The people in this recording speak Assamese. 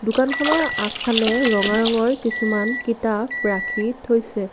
দোকানখনৰ আগফালে ৰঙা ৰঙৰ কিছুমান কিতাপ ৰাখি থৈছে।